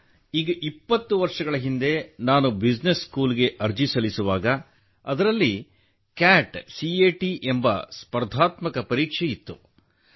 sir ಇಪ್ಪತ್ತು ವರ್ಷಗಳ ಹಿಂದೆ ನಾನು ಬಿಸಿನೆಸ್ ಸ್ಕೂಲ್ಗೆ ಅರ್ಜಿ ಸಲ್ಲಿಸುವಾಗ ಅದರಲ್ಲಿ ಕ್ಯಾಟ್ ಎಂಬ ಸ್ಪರ್ಧಾತ್ಮಕ ಪರೀಕ್ಷೆ ಇತ್ತು